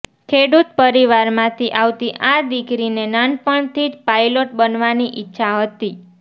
ખેડૂત પરિવારમાંથી આવતી આ દીકરીને નાનપણથી જ પાયલોટ બનવાની ઈચ્છા હતી